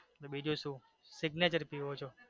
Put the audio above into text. તો બીજું સુ signature પીવો છો.